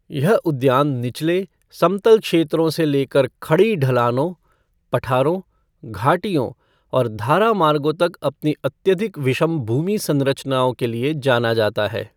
यह उद्यान निचले, समतल क्षेत्रों से लेकर खड़ी ढलानों, पठारों, घाटियों और धारा मार्गों तक अपनी अत्याधिक विषम भूमि संरचनाओं के लिए जाना जाता है।